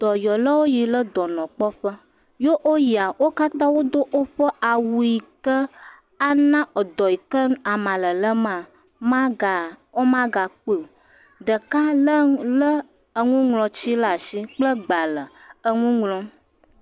Dɔyɔlawo yi ɖe dɔnɔ kpɔ ƒe. Ye wò yina, wo katã wò do awu yike ana edɔ yike ama lelem maa wò maa gã kpɔe. Ɖeka le enuŋlɔti kple agbalẽ ɖe asi le nu ŋlɔm.